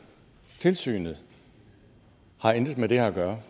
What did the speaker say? tilsynet har intet med det her at gøre